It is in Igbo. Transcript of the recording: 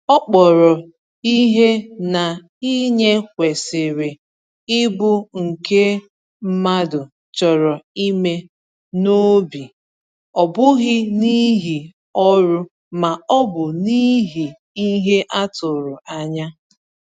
Ọ kpọrọ ihe na inye kwesịrị ịbụ nke mmadụ chọrọ ime n’obi, ọ bụghị n’ihi ọrụ ma ọ bụ n’ihi ihe a tụrụ anya.